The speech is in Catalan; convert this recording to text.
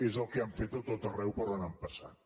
és el que han fet a tot arreu per on han passat